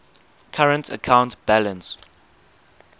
current account balance